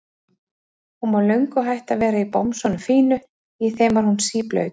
Hún var löngu hætt að vera í bomsunum fínu, í þeim var hún síblaut.